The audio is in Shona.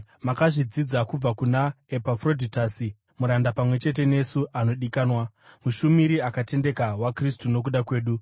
Makazvidzidza kubva kuna Epafrodhitasi, muranda pamwe chete nesu anodikanwa, mushumuri akatendeka waKristu nokuda kwedu,